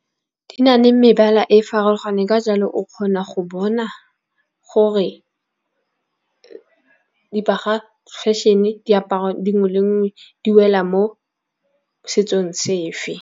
Di na le mebala e farologaneng ka jalo o kgona go bona gore di paga fashion-e diaparo di nngwe le nngwe di wela mo setsong sefe.